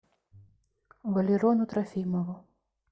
валерону трофимову